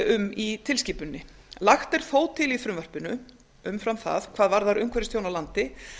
um í tilskipuninni lagt er þó til í frumvarpinu umfram það hvað varðar umhverfistjón á landi